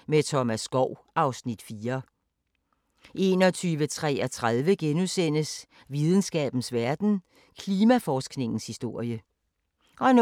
12:15: Opera i guldalderens København (Afs. 3) 00:05: Opera i guldalderens København (Afs. 3)*